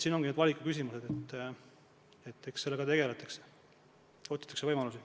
Siin ongi need valikukohad, sellega tegeldakse ja oodatakse võimalusi.